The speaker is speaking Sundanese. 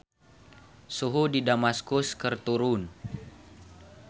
Suhu di Damaskus keur turun